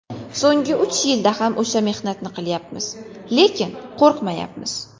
So‘nggi uch yilda ham o‘sha mehnatni qilyapmiz, lekin qo‘rqmayapmiz.